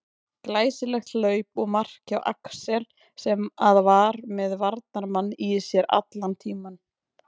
Glæsilegt hlaup og mark hjá Axel sem að var með varnarmann í sér allan tímann.